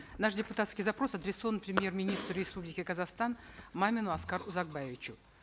наш депутатский запрос адресован премьер министру республики казахстан мамину аскару узакбаевичу